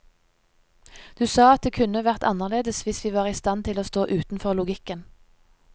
Du sa at det kunne vært annerledes hvis vi var i stand til å stå utenfor logikken.